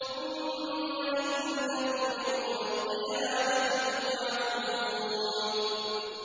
ثُمَّ إِنَّكُمْ يَوْمَ الْقِيَامَةِ تُبْعَثُونَ